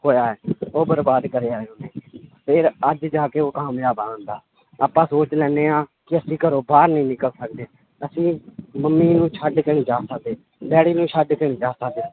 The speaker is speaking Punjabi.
ਖੋਇਆ ਹੈ ਉਹ ਬਰਬਾਦ ਕਰਿਆ ਹੈ ਫਿਰ ਅੱਜ ਜਾ ਕੇ ਉਹ ਕਾਮਯਾਬ ਆ ਬੰਦਾ ਆਪਾਂ ਸੋਚ ਲੈਂਦੇ ਹਾਂ ਵੀ ਅਸੀਂ ਘਰੋਂ ਬਾਹਰ ਨੀ ਨਿਕਲ ਸਕਦੇ, ਅਸੀਂ ਮੰਮੀ ਨੂੰ ਛੱਡਕੇ ਨੀ ਜਾ ਸਕਦੇ ਡੈਡੀ ਨੂੰ ਛੱਡ ਕੇ ਨੀ ਜਾ ਸਕਦੇ।